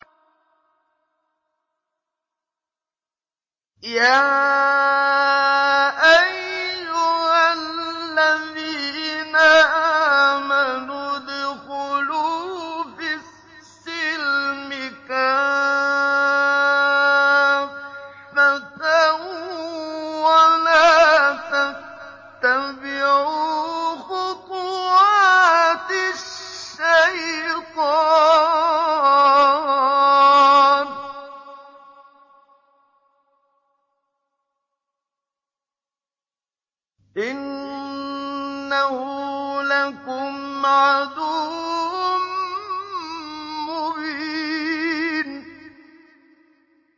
يَا أَيُّهَا الَّذِينَ آمَنُوا ادْخُلُوا فِي السِّلْمِ كَافَّةً وَلَا تَتَّبِعُوا خُطُوَاتِ الشَّيْطَانِ ۚ إِنَّهُ لَكُمْ عَدُوٌّ مُّبِينٌ